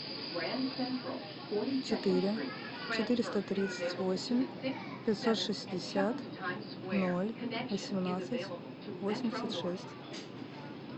четыре четыреста тридцать восемь пятьсот шестьдесят ноль восемнадцать восемьдесят шесть